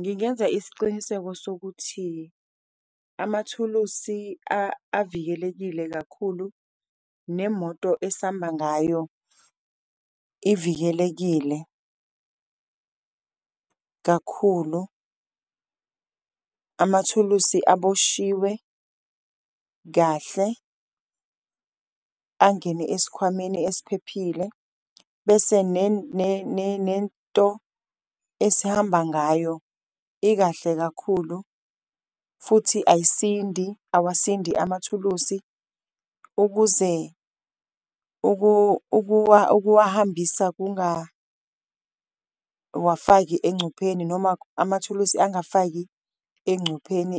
Ngingenza isiciniseko sokuthi amathulusi avikelekile kakhulu nemoto esamba ngayo ivikelekile kakhulu, amathulusi aboshiwe kahle, angene esikhwameni esiphephile bese nento esihamba ngayo ikahle kakhulu futhi ayisindi awasindi amathulusi. Ukuze ukuwahambisa kungawafaki encupheni noma amathulusi angafaki encupheni